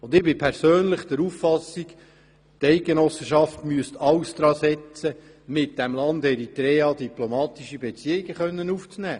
Ich bin persönlich der Auffassung, die Eidgenossenschaft müsste alles daran setzen, um mit dem Land Eritrea diplomatische Beziehungen aufzunehmen.